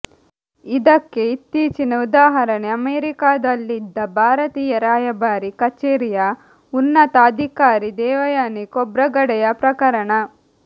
ಇದಕ್ಕೆ ಇತ್ತೀಚಿನ ಉದಾಹರಣೆ ಅಮೆರಿಕಾದಲ್ಲಿದ್ದ ಭಾರತೀಯ ರಾಯಭಾರಿ ಕಛೇರಿಯ ಉನ್ನತ ಅಧಿಕಾರಿ ದೇವಯಾನಿ ಖೋಬ್ರಗಡೆಯ ಪ್ರಕರಣ